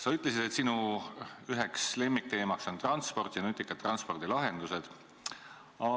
Sa ütlesid, et üks sinu lemmikteemasid on transport ja nutikad transpordilahendused.